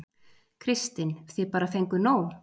Kristinn: Þið bara fenguð nóg?